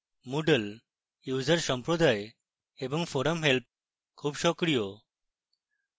moodle user সম্প্রদায় এবং forum help খুব সক্রিয়